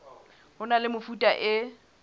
ho na le mefuta e